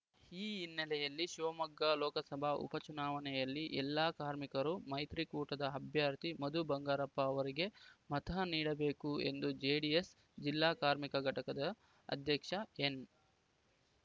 ಈ ಹಿನ್ನೆಲೆಯಲ್ಲಿ ಶಿವಮೊಗ್ಗ ಲೋಕಸಭಾ ಉಪ ಚುನಾವಣೆಯಲ್ಲಿ ಎಲ್ಲ ಕಾರ್ಮಿಕರು ಮೈತ್ರಿಕೂಟದ ಅಭ್ಯರ್ಥಿ ಮಧು ಬಂಗಾರಪ್ಪ ಅವರಿಗೆ ಮತ ನೀಡಬೇಕು ಎಂದು ಜೆಡಿಎಸ್‌ ಜಿಲ್ಲಾ ಕಾರ್ಮಿಕ ಘಟಕದ ಅಧ್ಯಕ್ಷ ಎನ್‌